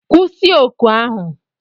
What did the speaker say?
Kwụsị oku ahu!